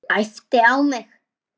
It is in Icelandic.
Æpti á mig.